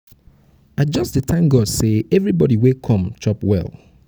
i just dey thank god say everybody wey come chop well